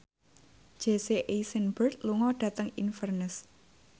Jesse Eisenberg lunga dhateng Inverness